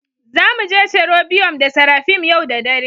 Za mu je cherobium da seraphim yau da dare